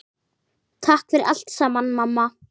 Takk fyrir allt saman, mamma.